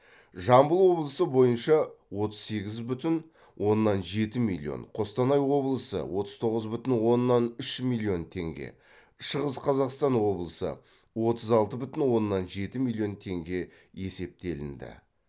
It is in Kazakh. жамбыл облысы бойынша отыз сегіз бүтін оннан жеті миллион қостанай облысы отыз тоғыз бүтін оннан үш миллион теңге шығыс қазақстан облысы отыз алты бүтін оннан жеті миллион теңге есептелінді